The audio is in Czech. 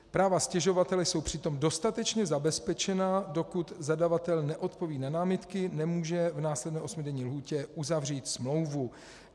Práva stěžovatele jsou přitom dostatečně zabezpečena, dokud zadavatel neodpoví na námitky, nemůže v následné osmidenní lhůtě uzavřít smlouvu.